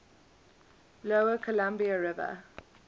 lower columbia river